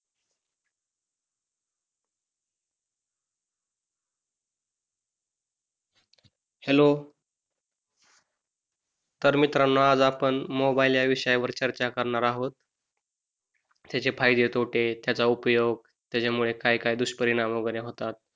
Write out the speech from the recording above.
Hello तर मित्रानो आज आपण मोबाइलला या विषयवार चर्चा करणार आहोत. त्याचे फायदे तोटे त्याचा उपयोग त्याच्यामुळे काय काय दुष्परिणाम वैगेरे होतात.